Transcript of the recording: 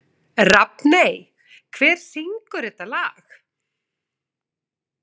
Rafney, hver syngur þetta lag?